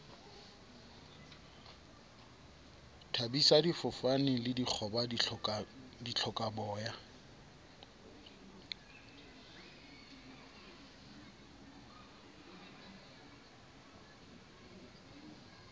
thabisa difofane le dikgoba dihlokaboya